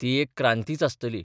ती एक क्रांतीच आसतली.